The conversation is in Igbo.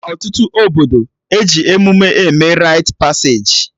Na ọtụtụ obodo, eji emụme eme rait paseji